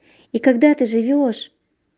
и когда ты живёшь